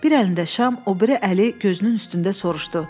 Bir əlində şam, o biri əli gözünün üstündə soruşdu: